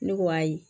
Ne ko ayi